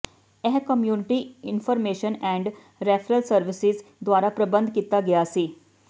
ਇਹ community information and referral services ਦੁਆਰਾ ਪ੍ਰਬੰਧ ਕੀਤਾ ਗਿਆ ਸੀ